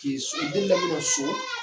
Ten o delila min na so